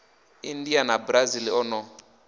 india na brazil o no